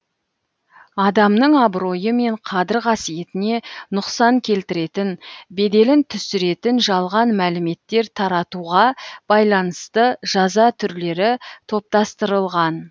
адамның абыройы мен қадір қасиетіне нұқсан келтіретін беделін түсіретін жалған мәліметтер таратуға байланысты жаза түрлері топтастырылған